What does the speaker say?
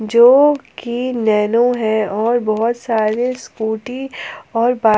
जो की नैनो है और बहोत सारे स्कूटी और--